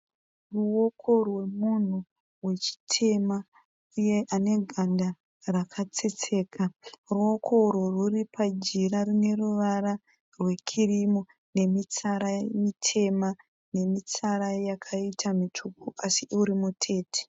Ruoko rwemunhu wechitema uye ane ganda rakatsetseka ruoko urwu rwuri pajira rine ruvara rwekirimu nemitsara mitema nemitsara yakaita mitsvuku asi uri mutete.